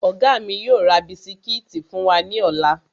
Ọ̀gá mi yóò ra bisikíìtì fún wa ní ọ̀la